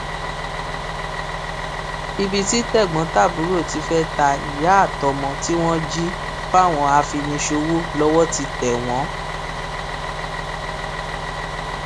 ibi tí tẹgbọntàbúrò ti fẹẹ ta ìyá àtọmọ tí wọn jí fáwọn afiniṣòwò lọwọ ti tẹ wọn